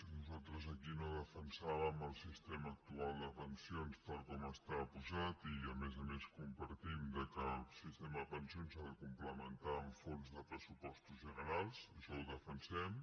nosaltres aquí no defensàvem el sistema actual de pensions tal com està posat i a més a més compartim que el sistema de pensions s’ha de complementar amb fons de pressupostos generals això ho defensem